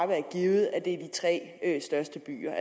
være givet at det er i de tre største byer